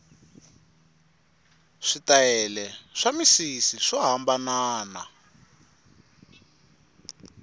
switayele swa misisi swo hambanana